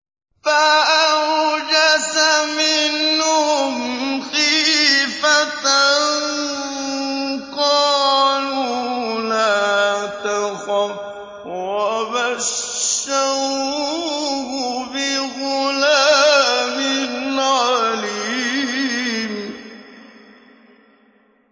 فَأَوْجَسَ مِنْهُمْ خِيفَةً ۖ قَالُوا لَا تَخَفْ ۖ وَبَشَّرُوهُ بِغُلَامٍ عَلِيمٍ